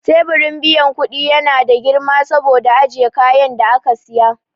Teburin biyan kudi ya na da girma saboda ajiye kayan da aka siya.